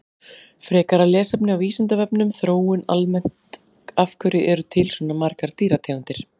Frekara lesefni á Vísindavefnum Þróun almennt Af hverju eru til svona margar dýrategundir?